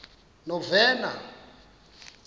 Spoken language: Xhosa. novena